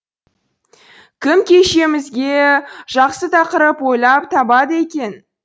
кім кешімізге жақсы тақырып ойлап табады екен